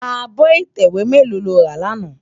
Ábò itèwé mèló ló rá làná?